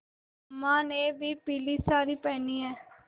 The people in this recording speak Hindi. अम्मा ने भी पीली सारी पेहनी है